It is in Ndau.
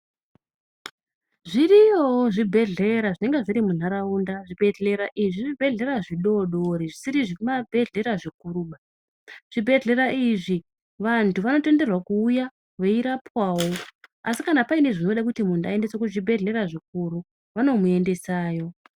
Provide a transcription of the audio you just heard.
Zviriyo zvibhedhlera zvinenge zviri mundaraunda Zvibhedhlera izvi zvibhedhlera zvidodori zvisiri zvibhedhlera zvikuru zvibhedhlera izvi vantu vanotenderwa kuuya veirapwawo asi kana pane zvekuti muntu aendeswe kuzvibhedhlera zvikuru vanomuendesayo.